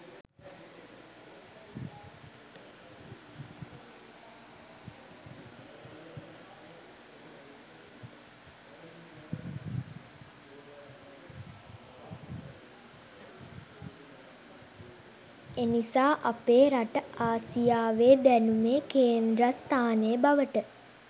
එනිසා අපේ රට ආසියාවේ දැනුමේ කේන්ද්‍රස්ථානය බවට